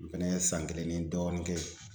N fɛnɛ ye san kelen ni dɔɔnin kɛ yen.